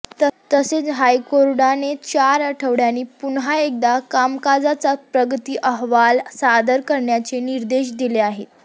तसेच हायकोर्टाने चार आठवड्यांनी पुन्हा एकदा कामकाजाचा प्रगती अहवाल सादर करण्याचे निर्देश दिले आहेत